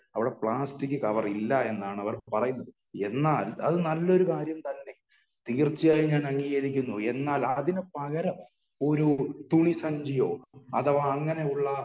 അവിടെ plastic cover ഇല്ല എന്നാണ് അവർ പറയുന്നത്. എന്നാൽ നല്ലൊരു കാര്യം തന്നെ തീർച്ചയായും ഞാൻ അംഗീകരിക്കുന്നു . എന്നാൽ അതിന് പകരം ഒരു തുണി സഞ്ചിയോ അങ്ങനെയുള്ള